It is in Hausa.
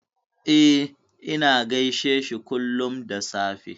E, ina gaishe shi kullum da safe.